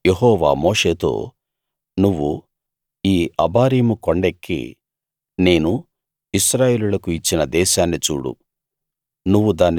ఇంకా యెహోవా మోషేతో నువ్వు ఈ అబారీము కొండెక్కి నేను ఇశ్రాయేలీయులకు ఇచ్చిన దేశాన్ని చూడు